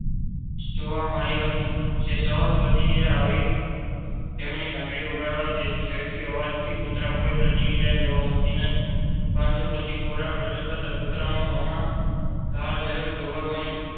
જોવા મળી હતી. સહજ પ્રતિક્રિયા હતી. હવે તેમણે ઘંટડી વગાડી, જેના અવાજથી કૂતરામાં કોઈ પ્રતિક્રિયા જોવા મળતી નથી. પરંતુ પછી ખોરાક રજુ થતા કુતરાના મોમાં લાલજળ જોવા મળી